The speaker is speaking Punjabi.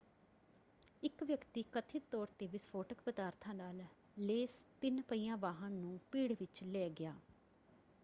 ਇੱਕ ਵਿਅਕਤੀ ਕਥਿਤ ਤੌਰ 'ਤੇ ਵਿਸਫੋਟਕ ਪਦਾਰਥਾਂ ਨਾਲ ਲੈਸ ਤਿੰਨ-ਪਹੀਆ ਵਾਹਨ ਨੂੰ ਭੀੜ ਵਿੱਚ ਲੈ ਗਿਆ।